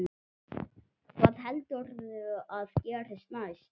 Hvað heldurðu að gerist næst?